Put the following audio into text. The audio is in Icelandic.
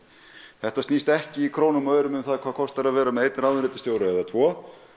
þetta snýst ekki í krónum og aurum um hvað það kostar að vera með einn ráðuneytisstjóra eða tvo